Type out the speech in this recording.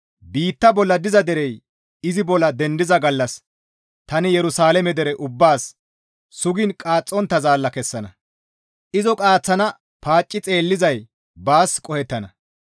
Biitta bolla diza derey izi bolla dendiza gallas tani Yerusalaame dere ubbaas sugiin qaaxxontta zaalla kessana; izo qaaththana paacci xeellizay baas qohettana.